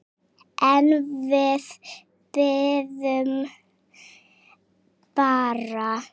En við biðum bara.